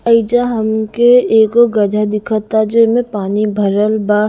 एइजा हमके एगो दिखता जे में पानी भरल बा--